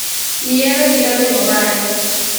ihero kit olemo mage?